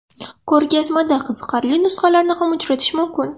Ko‘rgazmada qiziqarli nusxalarni ham uchratish mumkin.